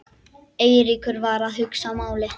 Eiríkur var að hugsa málið.